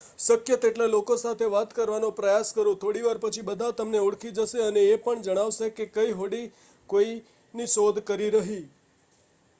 શક્ય તેટલા લોકો સાથે વાત કરવાનો પ્રયાસ કરો.થોડીવાર પછી બધા તમને ઓળખી જશે અને એ પણ જણાવશે કે કઈ હોડી કોઈની શોધકરી રહી